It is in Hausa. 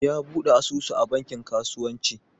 Ya bude asusu a banki kasuwanci.